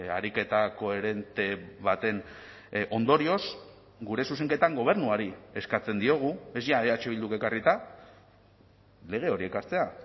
ariketa koherente baten ondorioz gure zuzenketan gobernuari eskatzen diogu ez ja eh bilduk ekarrita lege hori ekartzea